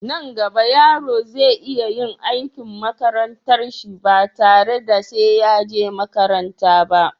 Nan gaba yaro zai iya yin aikin makarantar shi ba tare da sai ya je makaranta ba